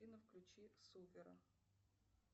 афина включи супера